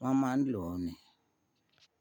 wọ́n máa ń lò ó ni.